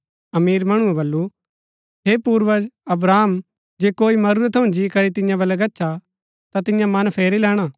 अमीर मणुऐ बल्लू हे पूर्वज अब्राहम जे कोई मरुरै थऊँ जी करी तियां बलै गच्छा ता तियां मन फेरी लैणा